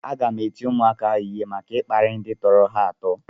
Aga m eti ụmụaka ahụ ịhe maka ịkparị ndị tọrọ ha atọ